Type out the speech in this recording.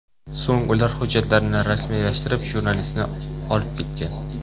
So‘ng ular hujjatlarni rasmiylashtirib, jurnalistni olib ketgan.